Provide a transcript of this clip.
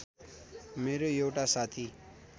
मेरो एउटा साथी